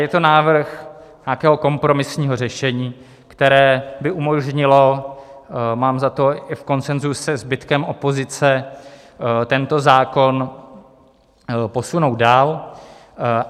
Je to návrh nějakého kompromisního řešení, které by umožnilo, mám za to i v konsenzu se zbytkem opozice, tento zákon posunout dál.